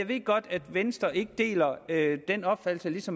ved godt at venstre ikke deler den opfattelse